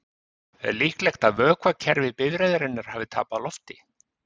Er líklegt að vökvakerfi bifreiðarinnar hafi tapað lofti?